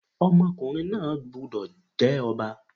Ọmọkùnrin náà gbúdọ̀ jẹ́ Ọba.